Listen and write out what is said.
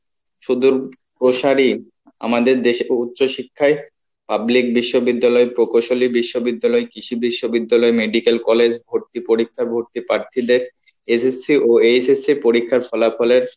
শুধু প্রসারী আমাদের দেশে উচ্চ শিক্ষায় public বিশ্ববিদ্যালয়, প্রকসলী বিশ্ববিদ্যালয়, কৃষি বিশ্ববিদ্যালয়, medical college, পার্থিদের SSC ও HSC পরীক্ষার ফলাফলের